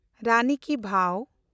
ᱨᱟᱱᱤ ᱠᱤ ᱵᱷᱟᱣ